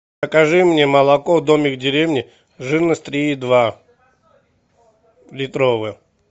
закажи мне молоко домик в деревне жирность три и два литровое